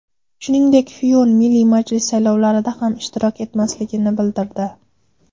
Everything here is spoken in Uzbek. Shuningdek, Fiyon Milliy majlis saylovlarida ham ishtirok etmasligini bildirdi.